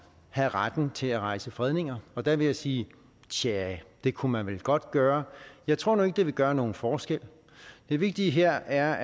have retten til at rejse fredninger og der vil jeg sige tja det kunne man vel godt gøre jeg tror nu ikke det vil gøre nogen forskel det vigtige her er